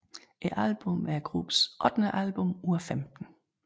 Albummet er gruppens ottende album ud af 15